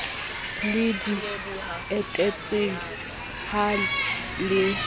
le di etetseng ha le